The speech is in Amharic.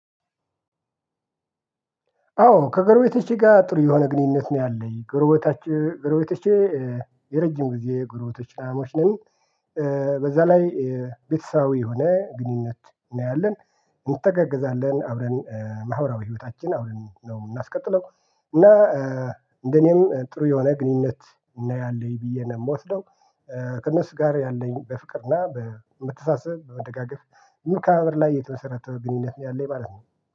አዎ ከገርቤቶቼ ጋር ጥሩ የሆነ ግንኙነት ነው ያለኝ። ጎርቤቶቼ የረጅም ጊዜ ግርቤቶቻሞች ነን። በዛ ላይ ቤተሰባዊ የሆነ ግንኙነት እና ያለን እንተጋገዛለን አብረን ማህበራዊ ህይወታችን አብረን ነው የምናስቀጥለው። እና እንደኔም ጥሩ የሆነ ግንኙነት እና ያለኝ ብዬ ነው የምወስደው። ከእነሱ ጋር ያለኝ በፍቅር እና በመተሳሰብ በመደጋገፍ በመከባበር ላይ የተመሰረተ ግንኙነት ያለኝ ማለት ነው።